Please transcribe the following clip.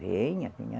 Venha, venha.